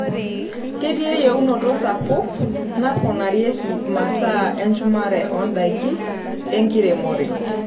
Ketii eyienoto sapuk naponarieki masaa enchumare oondaiki enkiremore.